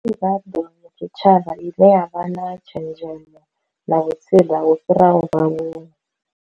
Tshitshavha i ne ya vha na tshenzhemo na vhutsila vhu fhiraho vhaaluwa.